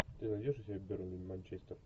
ты найдешь у себя бернли манчестер